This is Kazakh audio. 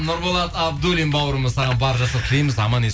нұрболат абдуллин бауырымыз саған барлық жақсылықты тілейміз аман ес